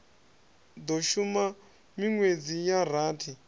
do shuma minwedzi ya rathi